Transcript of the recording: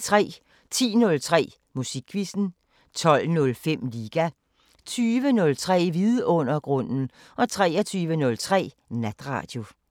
10:03: Musikquizzen 12:05: Liga 20:03: Vidundergrunden 23:03: Natradio